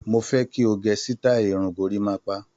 Mo fẹ́ kí o gẹ sítáì irun gorímápá.